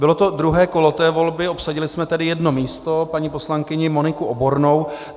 Bylo to druhé kolo té volby, obsadili jsme tedy jedno místo, paní poslankyni Moniku Obornou.